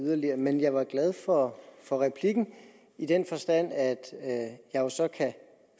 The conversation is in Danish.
yderligere men jeg var glad for for replikken i den forstand at at jeg jo så